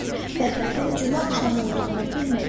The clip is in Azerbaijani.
Fəxrəddin cümə axşamı olduğunu bilmirdi.